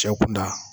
Cɛ kun da